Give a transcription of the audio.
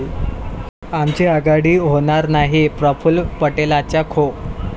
आमची आघाडी होणार नाही, प्रफुल्ल पटेलांचा खो!